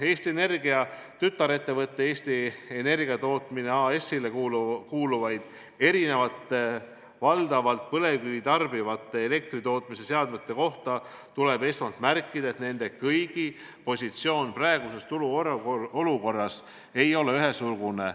Eesti Energia tütarettevõttele Enefit Energiatootmine AS kuuluvate erinevate, valdavalt põlevkivi tarbivate elektritootmise seadmete kohta tuleb esmalt märkida, et nende kõigi positsioon praeguses turuolukorras ei ole ühesugune.